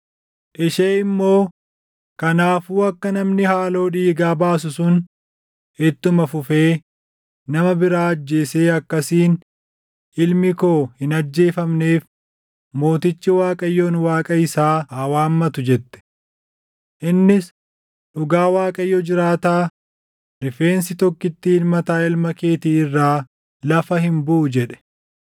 Ishee immoo, “Kanaafuu akka namni haaloo dhiigaa baasu sun ittuma fufee nama biraa ajjeesee akkasiin ilmi koo hin ajjeefamneef mootichi Waaqayyoon Waaqa isaa haa waammatu” jette. Innis, “Dhugaa Waaqayyo jiraataa, rifeensi tokkittiin mataa ilma keetii irraa lafa hin buʼu” jedhe.